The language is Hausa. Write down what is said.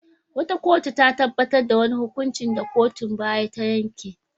Wata kotu ta tabbatar da wani hukuncin da kotun baya ta yanke.